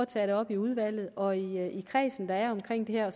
tage det op i udvalget og i den kreds der er omkring det her og